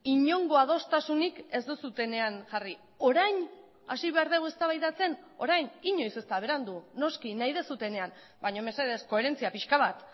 inongo adostasunik ez duzuenean jarri orain hasi behar dugu eztabaidatzen orain inoiz ez da berandu noski nahi duzuenean baina mesedez koherentzia pixka bat